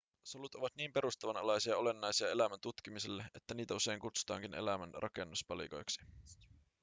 solut ovat niin perustavanlaisia ja olennaisia elämän tutkimiselle että niitä usein kutsutaankin elämän rakennuspalikoiksi